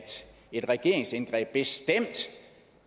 et regeringsindgreb bestemt